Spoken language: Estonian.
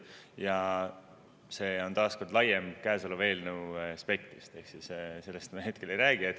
See on taas kord laiem käesoleva eelnõu aspektist ehk siis sellest me hetkel ei räägi.